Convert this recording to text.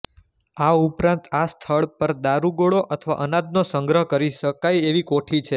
આ ઉપરાંત આ સ્થળ પર દારૂગોળો અથવા અનાજનો સંગ્રહ કરી શકાય એવી કોઠી છે